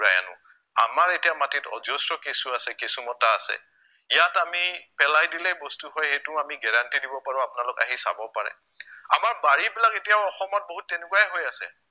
আমাৰ এতিয়া মাটিত অজস্ৰ কেঁচু আছে, কেঁচুমতা আছে, ইয়াত আমি পেলাই দিলেই বস্তু হয় সেইটো আমি guarantee দিব পাৰো আপোনালোক আহি চাব পাৰে, আমাৰ বাৰিবিলাক এতিয়াও অসমত বহুত তেনেকুৱাই হৈ আছে